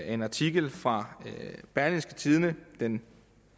en artikel fra berlingske tidende den